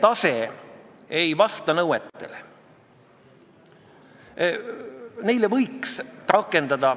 Ma tsiteeriksin teile Tarmo Soomeret, kes ühest teisest küsimusest rääkides ütles siin saalis puldist kaks päeva tagasi: "Ei tohi luua illusiooni, et keerulisi asju saab lihtsalt lahendada.